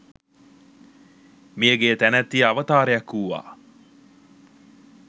මියගිය තැනැත්තිය අවතාරයක් වූවා